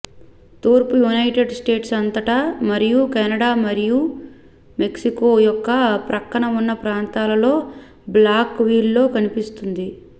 తూర్పు United States అంతటా మరియు కెనడా మరియు మెక్సికో యొక్క ప్రక్కన ఉన్న ప్రాంతాలలో బ్లాక్ విల్లో కనిపిస్తుంది